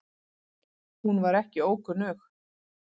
Hún var ekki ókunnug